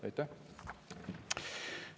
Aitäh!